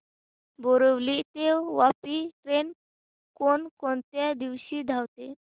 बोरिवली ते वापी ट्रेन कोण कोणत्या दिवशी धावते